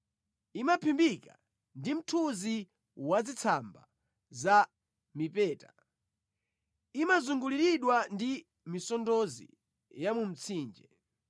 Imaphimbika ndi mthunzi wazitsamba za mipeta; imazunguliridwa ndi misondozi ya mu mtsinje.